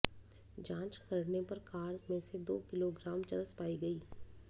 जांच करने पर कार में से दो किलोग्राम चरस पाई गई